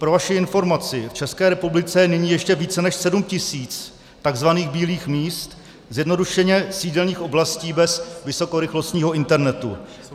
Pro vaši informaci, v České republice je nyní ještě více než 7 000 tzv. bílých míst, zjednodušeně sídelních oblastí bez vysokorychlostního internetu.